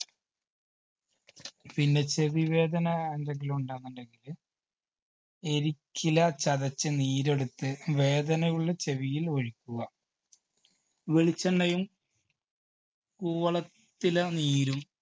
പിന്നെ ചെവി വേദന എന്തെങ്കിലും ഉണ്ട് അങ്ങനെയുണ്ടെങ്കില് എരിച്ചില ചതച്ച് നീരെടുത്ത് വേദന ഉള്ള ചെവിയിൽ ഒഴിക്കുക വെളിച്ചെണ്ണയും കൂവള~ത്തില നീരും